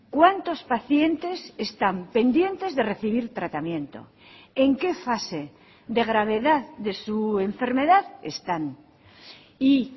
cuántos pacientes están pendientes de recibir tratamiento en qué fase de gravedad de su enfermedad están y